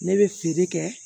Ne bɛ feere kɛ